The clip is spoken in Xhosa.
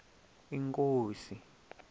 inkosi